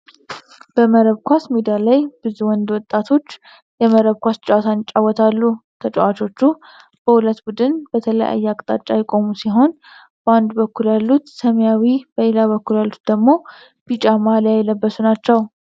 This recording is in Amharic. በመረብ ኳስ ሜዳ ላይ ብዙ ወንድ ወጣቶች የመረብ ኳስ ጨዋታን ይጫወታሉ። ተጫዋቾቹ በሁለት ቡድን በተለያየ አቅጣጫ የቆሙ ሲሆን በአንድ በኩል ያሉት ሰማያዊ በሌላ በኩል ያሉት ደግሞ ቢጫ ማልያ የለበሱ ናቸው።